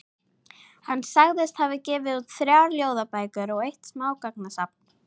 Hann sagðist hafa gefið út þrjár ljóðabækur og eitt smásagnasafn.